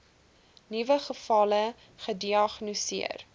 nuwe gevalle gediagnoseer